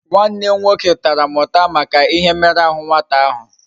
Nwannem nwoke Tara m uta Maka ihe mmeru ahu nwata ahu